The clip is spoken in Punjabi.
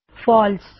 ਫਾਲਸ